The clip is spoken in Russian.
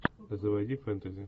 заводи фэнтези